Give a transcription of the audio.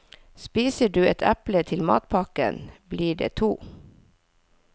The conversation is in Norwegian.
Spiser du et eple til matpakken, blir det to.